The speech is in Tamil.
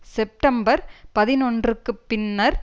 செப்டம்பர் பதினொன்றுக்கு பின்னர்